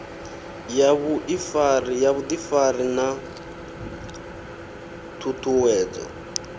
ya vhuḓifari na ṱhu ṱhuwedzo